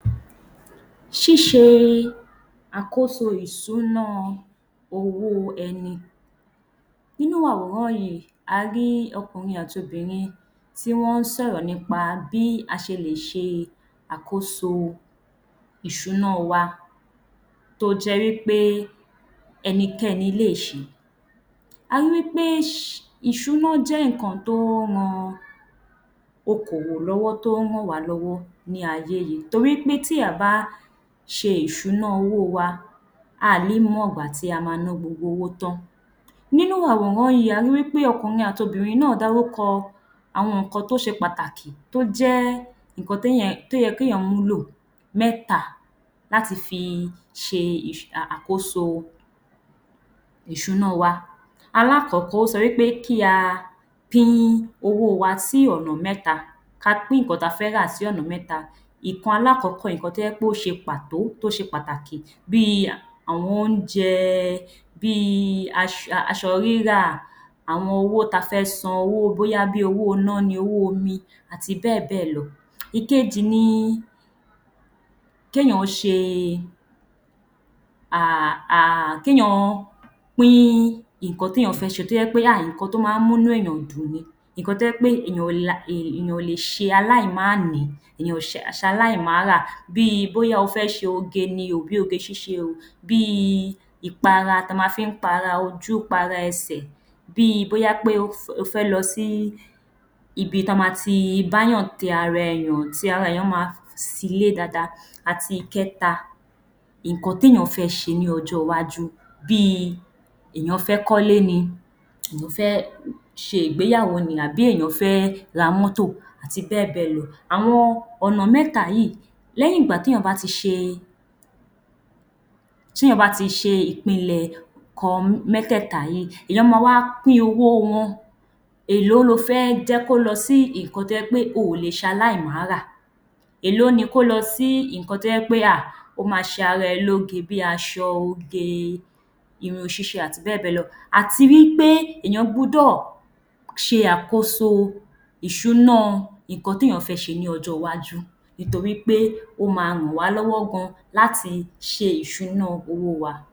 Ṣíṣe àkóso ìṣúná owó ẹni. Nínú àwòrán yìí, a rí ọkùnrin àti obìnrin tí wọ́n ń sọ̀rọ̀ nípa bí a ṣe lè ṣe àkóso ìṣúná wa tó jẹ́ wí pé ẹni kẹ́ni lè si. A ri wí pé ìṣúná jẹ́ nǹkan tó ń ran okòwò lọ́wọ́, tó ń ràn wá lọ́wọ́ ní ayé yìí torí pé tí a ò bá ṣe ìṣúná owó wa, a ò ní mọ ìgbà tí a ma ná gbogbo owó tán. Nínú àwòrán yìí, a ri wí pé ọkùnrin àti obìnrin náà dárúkọ àwọn nǹkan tó ṣe pàtàkì, tó jẹ́ nǹkan tó yẹ kí èèyàn mú lò mẹ́ta láti fi ṣe àkóso ìṣúná wa. Alákọ̀ọ́kọ́, ó sọ pé kí a pín owó wa sí ọ̀nà mẹ́ta, ka pín nǹkan ta fẹ́ rà sí ọ̀nà mẹ́ta. Nǹkan alákọ̀ọ́kọ́ nǹkan tó jẹ́ pé ó ṣe pàtó, tó ṣe pàtàkì, bí i àwọn oúnjẹ, bí i aṣọ rírà, àwọn owó ta fẹ́ san owó bóyá bí owó iná ni, owó omi, àti bẹ́ẹ̀ bẹ́ẹ̀ lọ. Ìkejì ni kéèyàn ṣe kéèyàn pín nǹkan tí èèyàn fẹ́ ṣe, tó jẹ́ pé ah nǹkan tó máa ń mú inú èèyàn dùn ni. Nǹkan tó jẹ́ pé èèyàn ò lè ṣe aláìmánìí, èèyàn ṣe aláìmárà bí i bóyá o fẹ́ ṣe oge ni o, bí oge ṣíṣe o, bí i ìpara ta ma fi ń para ojú, para ẹsẹ̀, bí i bóyá pé o fẹ́ lọ sí ibi ta ma ti báyàn tẹ ara èèyàn tí ara èèyàn ma silé dáadáa àti ìkẹ́ta, nǹkan téèyàn fẹ́ ṣe ní ọ́jọ́ iwájú bí i èèyàn fẹ́ kólé ni, o fẹ́ ṣe ìgbéyàwó ni àbí èèyàn fẹ́ ra mọ́tò àti bẹ́ẹ̀ bẹ́ẹ̀ lọ. Àwọn ọ̀nà mẹ́ta yìí, lẹ́yìn ìgbà téèyàn bá ti ṣe ìpinlẹ̀ nǹkan mẹ́tẹ̀ẹ̀ta tí, èèyàn ma wá pín owó wọn. Èlò lo fẹ́ jẹ́ kó lọ sí nǹkan tó jẹ́ pé o ò lè ṣe aláìmárà, èlò ni kó lọ sí nǹkan tó jẹ́ pé ah ó ma ṣe ara ẹ lóge bí aṣọ oge, irun ṣíṣe àti bẹ́ẹ̀ bẹ́ẹ̀ lọ. Àti wí pé èèyàn gbọ́dọ̀ ṣe àkóso ìṣúná nǹkan téèyàn fẹ́ ṣe ní ọjọ́ iwájú nítorí pé ó ma ràn wá lọ́wọ́ gan láti ṣe ìṣúná owó wa.